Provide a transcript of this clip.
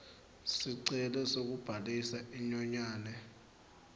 sicelo sekubhalisa inyonyane